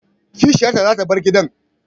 Kishiyarta zata bar gidan